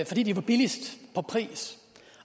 fordi de var billigst i pris